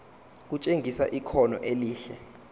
kutshengisa ikhono elihle